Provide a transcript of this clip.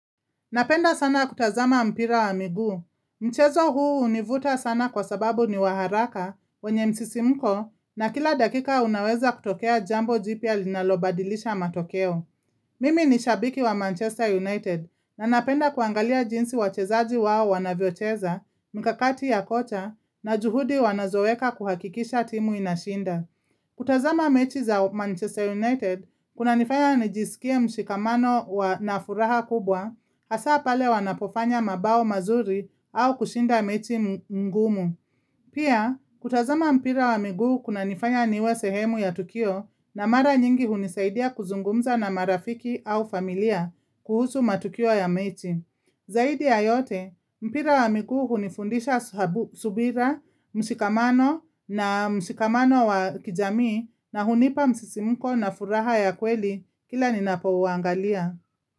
Napenda sana kutazama mpira wa miguu Mchezo huu hunivuta sana kwa sababu ni waharaka wenye msisimko na kila dakika unaweza kutokea jambo jipia linalobadilisha matokeo. Mimi ni shabiki wa Manchester United na napenda kuangalia jinsi wachezaji wao wanavyocheza, mkakati ya kocha na juhudi wanazoweka kuhakikisha timu inashinda. Kutazama mechi za Manchester United kuna nifanya nijisikia mshikamano nafuraha kubwa hasa pale wanapofanya mabao mazuri au kushinda mechi mgumu. Pia kutazama mpira wa miguu kuna nifanya niwe sehemu ya tukio na mara nyingi hunisaidia kuzungumza na marafiki au familia kuhusu matukio ya mechi. Zaidi ya yote, mpira wa miguu ni fundisha subira, mshikamano na mshikamano wa kijamii na hunipa msisimuko na furaha ya kweli kila ni napo uangalia.